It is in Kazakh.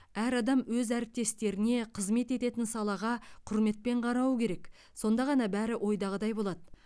әр адам өз әріптестеріне қызмет ететін салаға құрметпен қарауы керек сонда ғана бәрі ойдағыдай болады